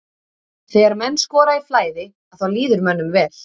Þegar menn skora í flæði að þá líður mönnum vel.